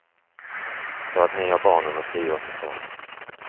För att ni har barnen och tio år tillsammans.